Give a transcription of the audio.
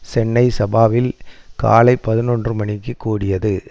சென்னை சபாவில் காலை பதினொன்று மணிக்கு கூடியது